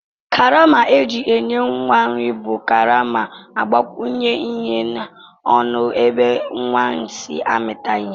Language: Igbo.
Karama eji enye nwa nri bu karama agbakwunye ihe na ọnụ ebe nwa si amita ihe.